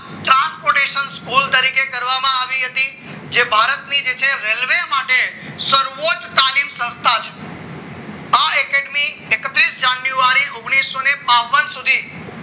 transportation pole તરીકે કરવામાં આવી હતી જે ભારતની જે છે રેલવે માટે સર્વોચ્ચ તાલીમ સંસ્થા છે આ academy એકવીસ જાન્યુઆરી ઓગણીસો બાવન સુધી